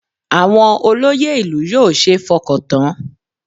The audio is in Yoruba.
Àwọn olóyè ìlú yóò ṣeé fọkàn tán